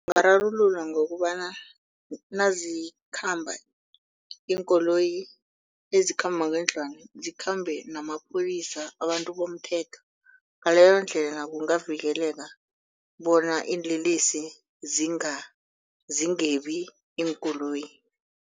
Ungararululwa ngokobana nazikhamba iinkoloyi ezikhamba ngendlwana zikhambe namapholisa abantu bomthetho. Ngaleyondlela kungavikeleka bona iinlelesi zingebi iinkoloyi.